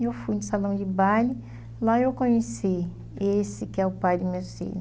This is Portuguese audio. Eu fui num salão de baile, lá eu conheci esse que é o pai dos meus filho.